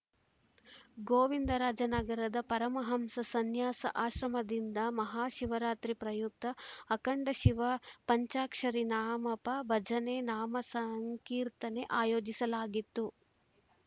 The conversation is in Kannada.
ಗೋವಿಂದರಾಜನಗರದ ಪರಮಹಂಸ ಸನ್ಯಾಸ ಆಶ್ರಮದಿಂದ ಮಹಾಶಿವರಾತ್ರಿ ಪ್ರಯುಕ್ತ ಅಖಂಡ ಶಿವ ಪಂಜಾಕ್ಷರಿ ನಾಮಪ ಭಜನೆ ನಾಮ ಸಂಕೀರ್ತನೆ ಆಯೋಜಿಸಲಾಗಿತ್ತು